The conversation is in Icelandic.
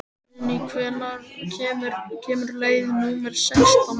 Guðni, hvenær kemur leið númer sextán?